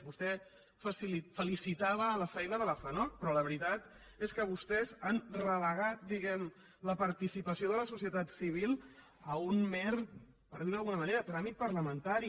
vostè felicitava la feina de la fanoc però la veritat és que vostès han relegat diguem la participació de la socie·tat civil a un mer per dir·ho d’alguna manera tràmit parlamentari